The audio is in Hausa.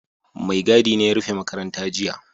Maigadi ne ya rufe makaranta jiya